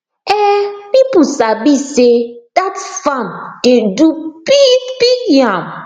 um people sabi say dat farm dey do big big yam